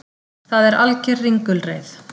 Það er alger ringulreið